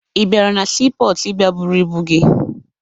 Ị bịara na siipọọtụ ịbịa buru ibu gị?